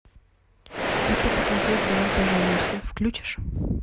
хочу посмотреть давай поженимся включишь